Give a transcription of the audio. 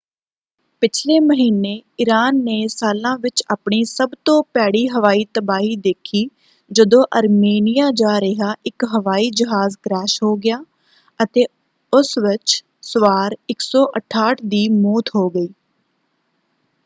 ਪਿਛਲੇ ਮਹੀਨੇ ਈਰਾਨ ਨੇ ਸਾਲਾਂ ਵਿੱਚ ਆਪਣੀ ਸਭ ਤੋਂ ਭੈੜੀ ਹਵਾਈ ਤਬਾਹੀ ਦੇਖੀ ਜਦੋਂ ਅਰਮੇਨੀਆਂ ਜਾ ਰਿਹਾ ਇੱਕ ਹਵਾਈ ਜਹਾਜ਼ ਕਰੈਸ਼ ਹੋ ਗਿਆ ਅਤੇ ਉਸ ਵਿੱਚ ਸਵਾਰ 168 ਦੀ ਮੌਤ ਹੋ ਗਈ।